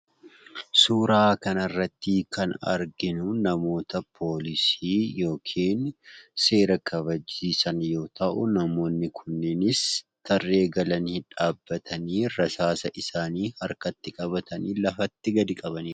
Suuraa kanarratti kan arginu namoota poolisii yookiin seera kabachiisan yoo ta'u namoonni kunniinis tarree galanii dhaabbatanii rasaasa isaanii harkatti qabatanii lafatti gadi qabaniiru.